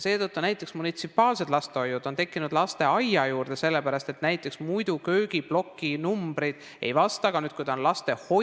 Seetõttu on näiteks munitsipaallastehoiud tekkinud lasteaedade juurde, sellepärast et näiteks muidu köögiploki numbrid ei vasta.